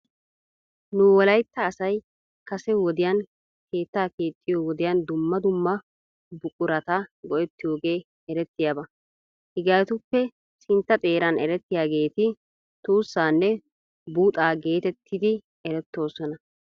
Nu wolaytta asay kase wodiyan keettaa keexxiyoo wodiyan dumma dumma bequrata go'ettiyoogee eretiyaaba. Hegeetuppekka sintta xeeran erettiyaageetti tuussaanne buuxaa geetettide erettoosona.